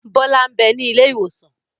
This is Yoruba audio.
Bọlá n bẹ ní ilé ìwòsàn